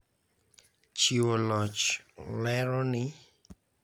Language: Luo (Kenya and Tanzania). Chiwo loch lero ni